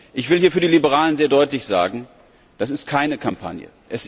Ich will hier für die Liberalen sehr deutlich sagen Das ist keine Kampagne.